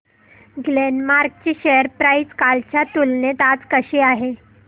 Glenmark ची share price कालच्या तुलनेत आज कशी आहे